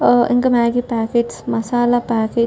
ఆ ఇంక Maggi packets masala packets --